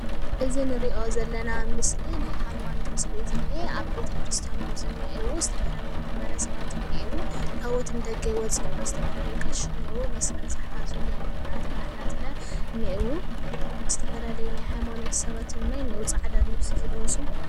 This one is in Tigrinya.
እዚ ንሪኦ ዘለና ምስሊ ናይ ሃይማኖት ምስሊ እዩ ዝኒሀ። ኣብ ቤተክርስትያን እዩም ዝንሄው ዝተፈላለዩ ማ/ሕሰባት እንህሄው፣ ታወት ንደገ ይወፅእ ኣሎ። ዝተፈላለዩ ቀሺ እንሄው፣ መስቀል ዝሓዙ ድያቆናት ካሕናት ለ እንሄው፣ ዝተፈላለየ ናይ ሃይማኖት ሰባት እውን እንሄው ፃዕዳ ልብሲ ዝለበሱ።